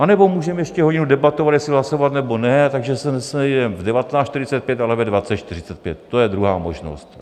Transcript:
Anebo můžeme ještě hodinu debatovat, jestli hlasovat, nebo ne, takže se nesejdeme v 19.45, ale ve 20.45, to je druhá možnost.